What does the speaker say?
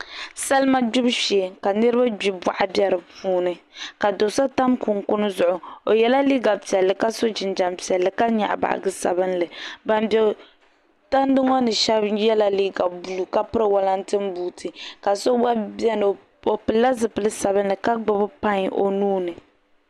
Salima gbibu shee ka nirab gbi boɣa bɛ di puuni ka do so tam kunkun zuɣu o yɛla liiga piɛlli ka so jinjɛm piɛlli ka nyaɣa baaji sabinli ban bɛ tandi ŋo ni shab yɛla liiga buluu ka piri wolatin buuti ka so gba biɛni o pilila zipili sabinli ka gbubi pai o nuuni